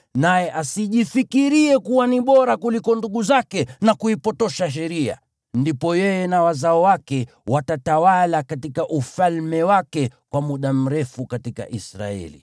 naye asijifikirie kuwa ni bora kuliko ndugu zake na kuipotosha sheria. Ndipo yeye na wazao wake watatawala katika ufalme wake kwa muda mrefu katika Israeli.